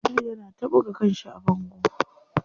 Abdul yana ta buga kanshi a bango.